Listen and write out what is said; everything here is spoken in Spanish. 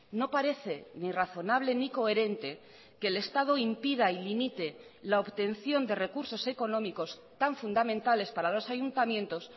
no parece ni razonable ni coherente que el estado impida y limite la obtención de recursos económicos tan fundamentales para los ayuntamientos